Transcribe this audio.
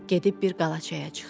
Gedib bir qalaçaya çıxdı.